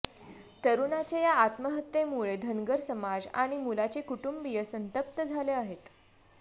तरुणाच्या या आत्महत्येमुळे धनगर समाज आणि मुलाचे कुटुंबिय संतप्त झाले आहेत